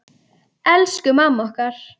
Elsku mamma okkar.